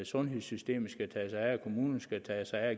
sundhedssystemet skal tage sig af kommunerne skal tage sig af